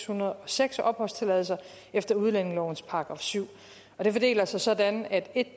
hundrede og seks opholdstilladelser efter udlændingelovens § syvende og de fordeler sig sådan at